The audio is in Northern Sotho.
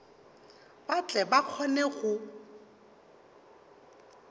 ba tle ba kgone go